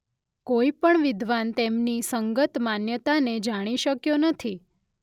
કોઈ પણ વિદ્વાન તેમની અંગત માન્યતાને જાણી શક્યો નથી.